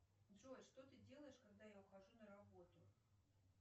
джой что ты делаешь когда я ухожу на работу